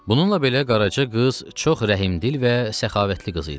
Bununla belə Qaraca qız çox rəhmdil və səxavətli qız idi.